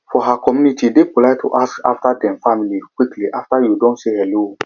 for her communitye dey polite to ask after dem family quickly after you don say hello